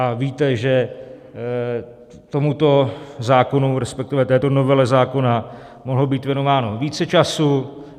A víte, že tomuto zákonu, respektive této novele zákona mohlo být věnováno více času.